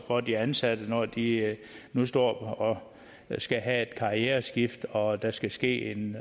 og de ansatte når de nu står og skal have et karriereskift og der skal ske en